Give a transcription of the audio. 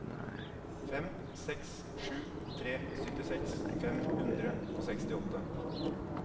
fem seks sju tre syttiseks fem hundre og sekstiåtte